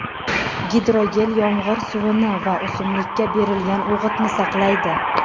Gidrogel yomg‘ir suvini va o‘simlikka berilgan o‘g‘itni saqlaydi.